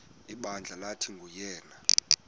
ibandla lathi nguyena